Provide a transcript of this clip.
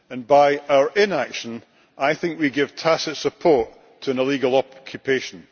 By our inaction, I think we give tacit support to an illegal occupation.